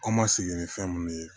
An ma segin ni fɛn mun ye